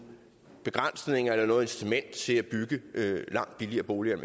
begrænsninger eller noget incitament til at bygge langt billigere boliger